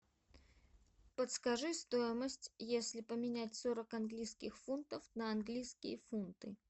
подскажи стоимость если поменять сорок английских фунтов на английские фунты